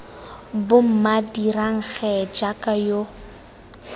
bomma dirang gee jaaka yo